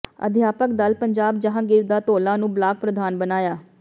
ਅਧਿਆਪਕ ਦਲ ਪੰਜਾਬ ਜਹਾਂਗੀਰ ਦਾ ਧੌਲਾ ਨੂੰ ਬਲਾਕ ਪ੍ਰਧਾਨ ਬਣਾਇਆ